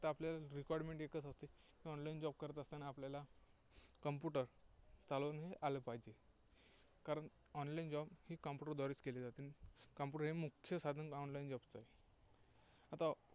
फक्त आपल्याला requirement एकच असते, की online job करत असताना आपल्याला computer चालवणे आले पाहिजे. कारण online job हे computer द्वारेच केले जाते. computer हे मुख्य साधन online job चं आहे. आता